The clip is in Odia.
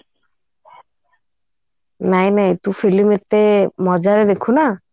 ନାଇଁ ନାଇଁ ତୁ film ଏତେ ମଜା ରେ ଦେଖୁ ନା